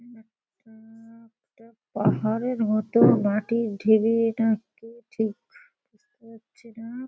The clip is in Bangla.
এখানে একটা একটা পাহাড়ের মতো মাটির ঢিবি নাকি ঠিক বুঝতে পারছি না।